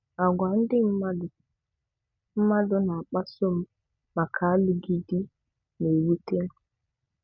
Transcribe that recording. Agwa ndị mmadụ mmadụ na-akpasa m maka alụghị di na-ewute m'